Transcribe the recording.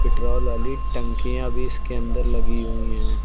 Petrol वाली टंकियां भी इसके अंदर लगी हुई है।